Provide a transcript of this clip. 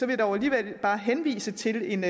jeg dog alligevel bare henvise til en